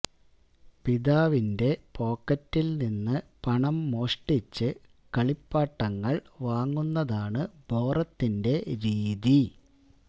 പിതാവിന്റെ പോക്കറ്റില് നിന്ന് പണം മോഷ്ടിച്ച് കളപ്പാട്ടങ്ങൾ വാങ്ങുന്നതാണ് ബോറത്തിന്റെ രീതി